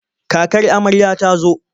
Kakar amarya ta zo.